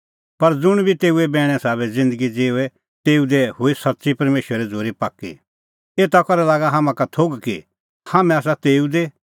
पर ज़ुंण बी तेऊए बैणे साबै ज़िन्दगी ज़िऊए तेऊ दी हुई सच्च़ी परमेशरे झ़ूरी पाक्की एता करै लागा हाम्हां का थोघ कि हाम्हैं आसा तेऊ दी